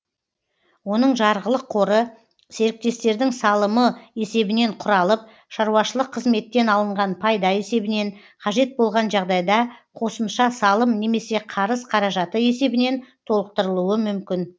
оның жарғылық қоры серіктестердің салымы есебінен құралып шаруашылық қызметтен алынған пайда есебінен қажет болған жағдайда қосымша салым немесе қарыз қаражаты есебінен толықтырылуы мүмкін